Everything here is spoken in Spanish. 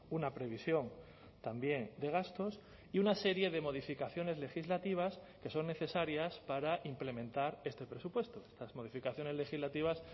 una previsión también de gastos y una serie de modificaciones legislativas que son necesarias para implementar este presupuesto las modificaciones legislativas